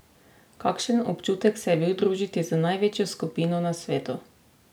Kakšen občutek se je bil družiti z največjo skupino na svetu?